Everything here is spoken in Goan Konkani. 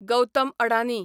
गौतम अडानी